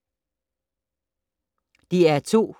DR2